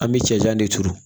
An bɛ cɛncɛn de turu